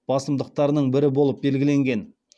басымдықтарының бірі болып белгіленген